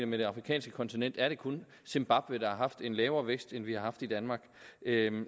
med det afrikanske kontinent er det kun zimbabwe der har haft en lavere vækst end den vi har haft i danmark